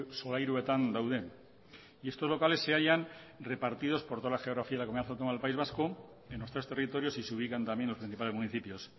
solairuetan daude estos locales se hallan repartidos por toda la geografía de la comunidad autónoma del país vasco en los tres territorios y se ubican también en los principales municipios